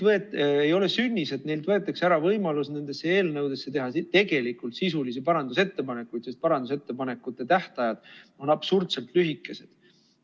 Ei ole sünnis, et neilt võetakse ära võimalus nendesse eelnõudesse teha tegelikult sisulisi parandusettepanekuid, sest parandusettepanekute tähtajad on absurdselt lühikesed.